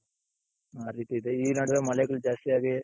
ಆ ರೀತಿ ಇದೆ ಈ ನಡ್ವೆ ಮಳೆಗಳು ಜಾಸ್ತಿ ಆಗಿ,